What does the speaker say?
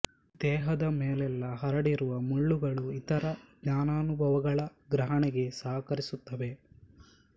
ದೇಹದ ಮೇಲೆಲ್ಲ ಹರಡಿರುವ ಮುಳ್ಳುಗಳು ಇತರ ಜ್ಞಾನಾನುಭವಗಳ ಗ್ರಹಣೆಗೆ ಸಹಕರಿಸುತ್ತವೆ